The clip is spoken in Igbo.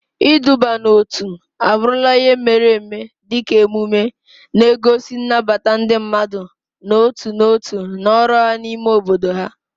Iduba n'otu abụrụla ihe mere eme dị ka emume emume, na-egosi nnabata ndị mmadụ n'otu n'otu na ọrụ ha n'ime obodo ha.